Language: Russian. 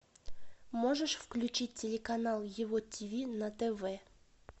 можешь включить телеканал его тв на тв